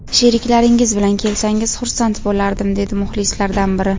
Sheriklaringiz bilan kelsangiz, xursand bo‘lardim”, dedi muxlislardan biri.